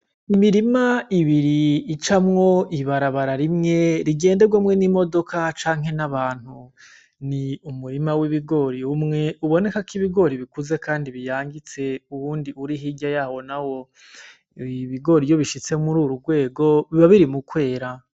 Imirima ibiri icamwo ibarabara rimwe rigenderwako n'imodoka canke n'abantu. Ni umurima w'ibigori umwe ubonekako ibigori bikuze kandi biyangitse, uwundi uri hirya yawo nawo. Ibi bigori iyo bishitse muri uru rwego, biba biri mu kwera.